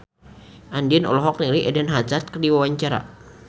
Andien olohok ningali Eden Hazard keur diwawancara